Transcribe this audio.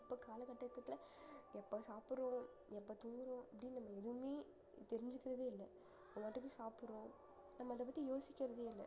இப்ப கால கட்டத்துல எப்ப சாப்பிடுறோம் எப்ப தூங்குறோம் அப்படின்னு நம்ம எதுவுமே தெரிஞ்சுக்கிறதே இல்ல நம்ம பாட்டுக்கு சாப்பிடுறோம் நம்ம அத பத்தி யோசிக்கிறதே இல்ல